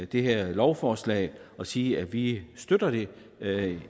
det her lovforslag og sige at vi støtter det